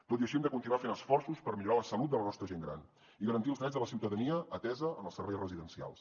tot i així hem de continuar fent esforços per millorar la salut de la nostra gent gran i garantir els drets de la ciutadania atesa en els serveis residencials